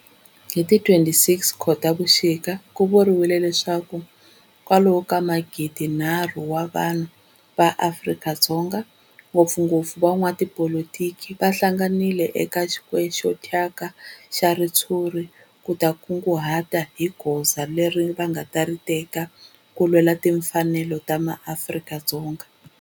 Hi ti 26 Khotavuxika ku vuriwa leswaku kwalomu ka magidinharhu wa vanhu va Afrika-Dzonga, ngopfungopfu van'watipolitiki va hlanganile eka square xo thyaka xa ritshuri ku ta kunguhata hi goza leri va nga ta ri teka ku lwela timfanelo ta maAfrika-Dzonga.